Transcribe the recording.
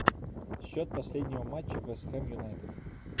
счет последнего матча вест хэм юнайтед